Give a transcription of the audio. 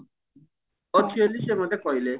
ଅଛି ବୋଲି ସେ ମୋତେ କହିଲେ